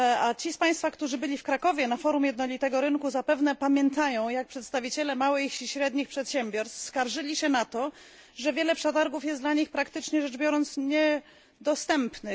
Ci z Państwa, którzy byli w Krakowie na forum jednolitego rynku, zapewnie pamiętają, jak przedstawiciele małych i średnich przedsiębiorstw skarżyli się na to, że wiele przetargów jest dla nich praktycznie rzecz biorąc niedostępnych.